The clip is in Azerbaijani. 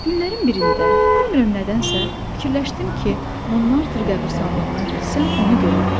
Günlərin birində, bilmirəm nədənsə, fikirləşdim ki, Monmarter qəbiristanlığına getsəm onu görərəm.